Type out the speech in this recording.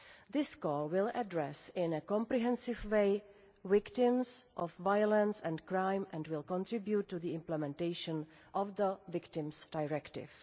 This call will address, in a comprehensive way, victims of violence and crime and will contribute to the implementation of the Victims' Directive.